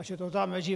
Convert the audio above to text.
A že to tam leží...